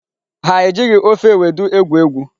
Ha e jighị ofe ewedu egwu egwu.